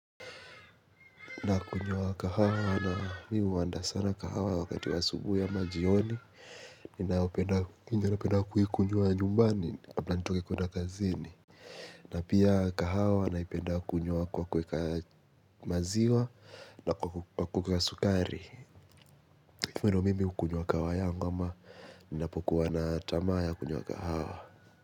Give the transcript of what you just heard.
Nakunywa kahawa na mimi huandaa sana kahawa wakati wa asubuhi ama jioni ninayopenda napenda kuikunywa nyumbani kabla nitoke kuenda kazini. Na pia kahawa naipenda kunywa kwa kuweka maziwa na kwa kuweka sukari hivyo ndo mimi hukunywa kahawa yangu ama ninapokuwa na tamaa ya kunywa kahawa.